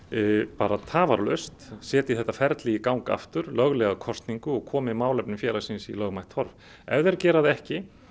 bara tafarlaust setji þetta ferli í gang aftur löglega kosningu og komi málefnum félagsins í lögmætt horf ef þeir gera það ekki